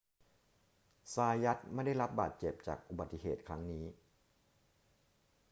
ซายัตไม่ได้รับบาดเจ็บจากอุบัติเหตุครั้งนี้